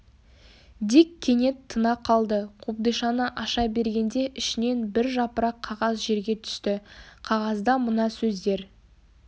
дик кенет тына қалды қобдишаны аша бергенде ішінен бір жапырақ қағаз жерге түсті қағазда мына сөздер